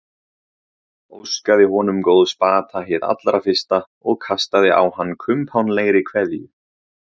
Óskaði honum góðs bata hið allra fyrsta og kastaði á hann kumpánlegri kveðju.